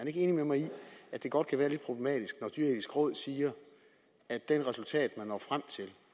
ikke enig med mig i at det godt kan være lidt problematisk når det dyreetiske råd siger at de resultater man når frem til